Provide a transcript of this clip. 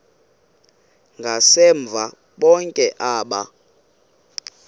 ngasemva bonke aba